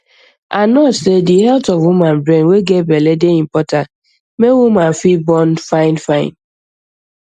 our nurse say di health of woman brain wey get belle dey important mey woman fi born fine fine